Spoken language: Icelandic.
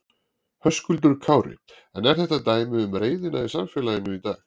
Höskuldur Kári: En er þetta dæmi um reiðina í samfélaginu í dag?